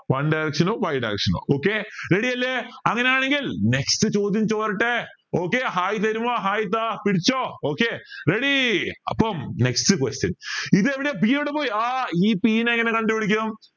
one direction y direction okay ready അല്ലെ അങ്ങനെയാണെങ്കിൽ next ചോത്യം പോരട്ടെ okay hi തരുമോ hi താ പിടിച്ചോ okay ready അപ്പം next question ഇതെവിടെയ p എവിടെ പോയ് ആ ഈ p നെ എങ്ങനെ കണ്ടുപിടിക്കും